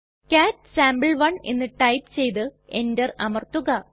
കാട്ട് സാംപെ1 എന്ന് ടൈപ്പ് ചെയ്തു എന്റർ അമർത്തുക